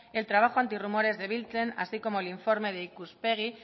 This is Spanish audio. el trabajo antirrumores de biltzen así como el informe de ikuspegi